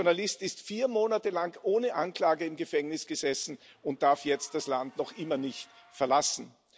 Der Journalist saß vier Monate lang ohne Anklage im Gefängnis und darf jetzt das Land noch immer nicht verlassen.